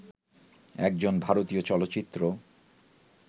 একজন ভারতীয় চলচ্চিত্র